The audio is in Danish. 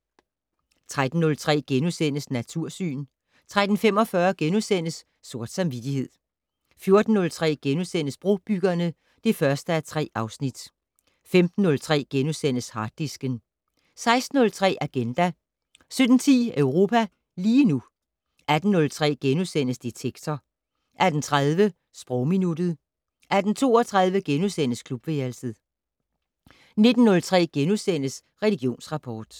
13:03: Natursyn * 13:45: Sort samvittighed * 14:03: Brobyggerne (1:3)* 15:03: Harddisken * 16:03: Agenda 17:10: Europa lige nu 18:03: Detektor * 18:30: Sprogminuttet 18:32: Klubværelset * 19:03: Religionsrapport *